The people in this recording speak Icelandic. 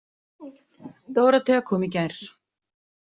Dórótea kom í gær.